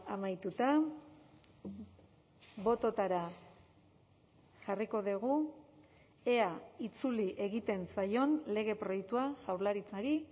amaituta bototara jarriko dugu ea itzuli egiten zaion lege proiektua jaurlaritzari